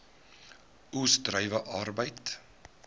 oes druiwe arbeid